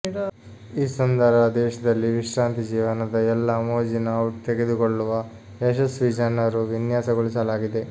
ಈ ಸುಂದರ ದೇಶದಲ್ಲಿ ವಿಶ್ರಾಂತಿ ಜೀವನದ ಎಲ್ಲಾ ಮೋಜಿನ ಔಟ್ ತೆಗೆದುಕೊಳ್ಳುವ ಯಶಸ್ವಿ ಜನರು ವಿನ್ಯಾಸಗೊಳಿಸಲಾಗಿದೆ